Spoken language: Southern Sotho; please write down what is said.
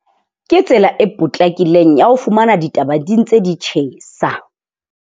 Ke tsela e potlakileng ya ho fumana ditaba di ntse di tjhesa.